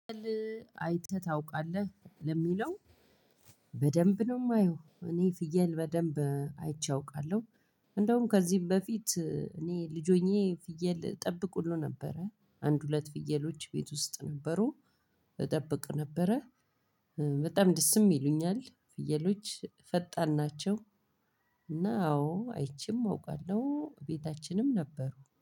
አይተህ ታውቃለህ ለሚለው በደንብ ነው የማየው። እኔ ፍየል በደንብ አይቼ አውቃለሁ። እንደውም ከዚህም በፊት እኔ ልጅ ሆኜ ፍየል እጠብቅ ሁሉ ነበረ። አንድ ሁለት ፍየሎች ቤት ውስጥ ነበሩ። እጠብቅ ነበረ በጣም ደስም ይሉኛል ፍየሎች ፈጣን ናቸው። እና አዎ አይቼም አውቃለሁ ቤታችንም ነበሩ።